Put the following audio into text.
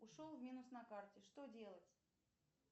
ушел в минус на карте что делать